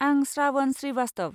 आं श्रावण श्रीवास्तव।